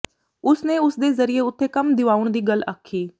ਉਸ ਨੇ ਉਸ ਦੇ ਜ਼ਰੀਏ ਉਥੇ ਕੰਮ ਦਿਵਾਉਣ ਦੀ ਗੱਲ ਆਖੀ